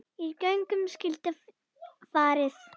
Í gönguna skyldi farið.